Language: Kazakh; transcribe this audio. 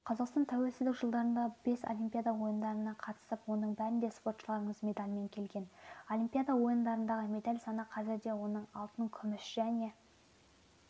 қазақстан тәуелсіздік жылдарында бес олимпиада ойындарына қатысып оның бәрінде спортшыларымыз медальмен келген олимпиада ойындарындағы медаль саны қазірде оның алтын күміс және